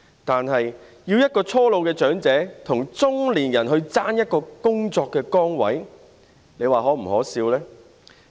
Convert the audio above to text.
可是，要一名初老長者跟中年人爭奪一個工作崗位，這是否可笑呢？